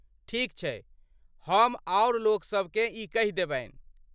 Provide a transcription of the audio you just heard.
ठीक छैक, हम आओर लोकसभ केँ ई कहि देबनि ।